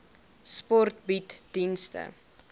sport bied dienste